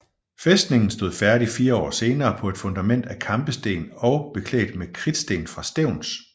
Fæstningen stod færdig fire år senere på et fundament af kampesten og beklædt med kridtsten fra Stevns